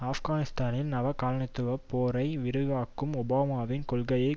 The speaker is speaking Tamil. ஆப்கானிஸ்தானில் நவகாலனித்துவப் போரை விரிவாக்கும் ஒபாமாவின் கொள்கைக்கும்